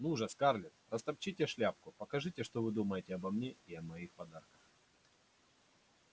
ну же скарлетт растопчите шляпку покажите что вы думаете обо мне и о моих подарках